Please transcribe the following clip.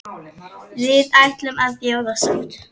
Við ætlum að bjóða sátt.